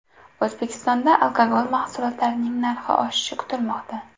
O‘zbekistonda alkogol mahsulotlarining narxi oshishi kutilmoqda.